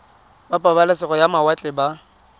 ba pabalesego ya mawatle ba